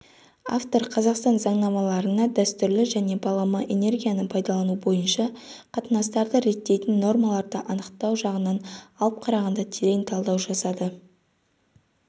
автор қазақстан заңнамаларына дәстүрлі және балама энергияны пайдалану бойынша қатынастарды реттейтін нормаларды анықтау жағынан алып қарағанда терең талдау жасады